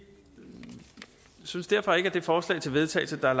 synes derfor ikke at det forslag til vedtagelse der er